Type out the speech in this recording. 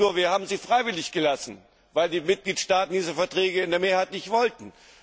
Nur, wir haben sie freiwillig gelassen, weil die Mitgliedstaaten diese Verträge in der Mehrheit nicht wollten.